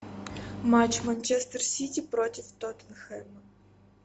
матч манчестер сити против тоттенхэма